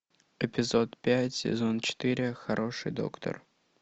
эпизод пять сезон четыре хороший доктор